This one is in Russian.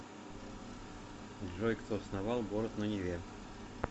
джой кто основал город на неве